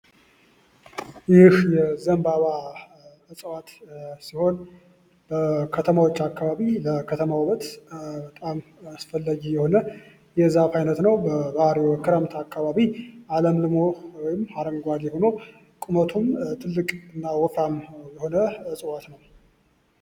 ይህ የዘንባባ እጽዋት ሲሆን በከተሞች አካባቢ የከተማ ውበት በጣም አስፈላጊ የሆነ የዛፍ አይነት ነው ባህሪው በክረምት አካባቢ አለምልሞ ወይም አረንጓዴ ሆኖ ቁመቱ ትልቅ እና ወፍራም የሆነ እጽዋት ነው።